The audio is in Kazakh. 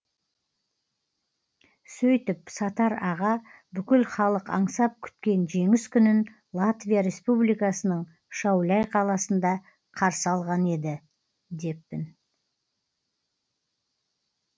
сөйтіп сатар аға бүкіл халық аңсап күткен жеңіс күнін латвия республикасының шауляй қаласында қарсы алған еді деппін